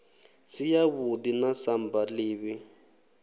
si yavhuḓi na samba ḓivhi